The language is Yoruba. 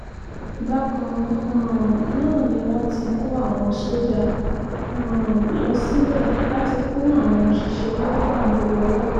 bákan um náà ni wọ́n ti kó àwọn sójà um lọ síbẹ̀ láti kún àwọn òṣìṣẹ́ elétò ààbò lọ́wọ́